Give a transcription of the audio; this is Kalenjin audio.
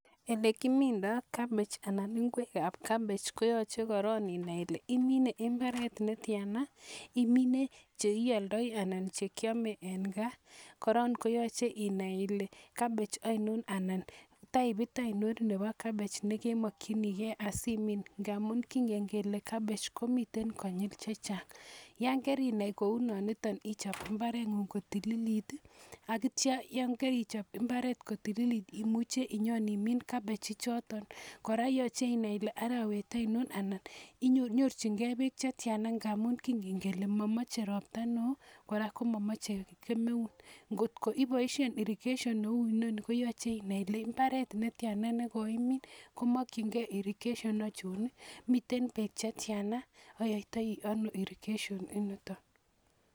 Ele kimindoi kabech anan ingwek ab kabech, ko yachei korok inai ile imine mbaret netiana, imine cheioldai anan chekiamei eng gaa. Kora koyachei inai ile kabach aino anan typit ainon nebo kabech nekemokchinigei asi ,min ngamun kingen kele kabach komitei konyil chechang. Yon karinai kou nonitet ichop mbareng'ung kotililit Akitio yon karichop mbareng'ung kotililit imuche inyon imin kabechichotok. Kora yochei inai ile arawet ainon anan nyorchingei beek chetiana ngamun kingen kele mamochei ropta neo kora mamochei kemeut. Ngotko iboishe irrigation neu inoni koyachei inai ile mbaret netiana nekoimin komokchingei irrigation achona, mitei beek chetiana, ayaitai ano irrigation initok